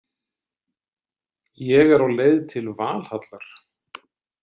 Ég er á leið til Valhallar